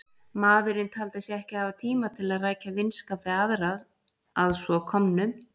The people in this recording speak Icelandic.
Maðurinn taldi sig ekki hafa tíma til að rækja vinskap við aðra að svo komnu.